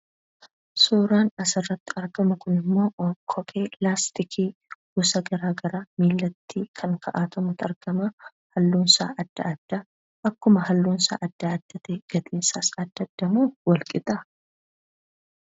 Suuraan asirrratti argamu kunimmoo, kophee laastikii gosa garagaraa miillatti kan ka'atamutu argama. Haallunsaa adda adda. Akkuma haallunsaa adda adda ta'e, gatiinsaas adda adda moo walqixa?